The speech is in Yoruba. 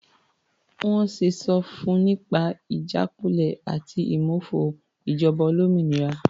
Wọ́n sì sọ fun nípa ìjákulẹ̀ àti ìmófo ìjọba olómìnira.